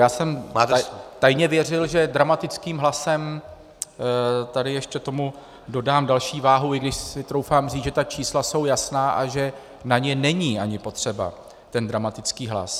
Já jsem tajně věřil, že dramatickým hlasem tady ještě tomu dodám další váhu, i když si troufám říct, že ta čísla jsou jasná a že na ně není ani potřeba ten dramatický hlas.